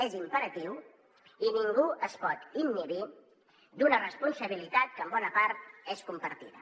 és imperatiu i ningú es pot inhibir d’una responsabilitat que en bona part és compartida